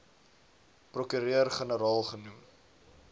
prokureur generaal genoem